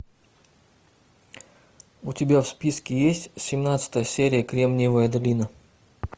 у тебя в списке есть семнадцатая серия кремниевая долина